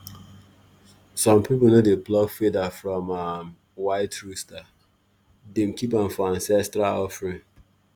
um some people no dey pluck feather from um white rooster — dem keep am for ancestral offering.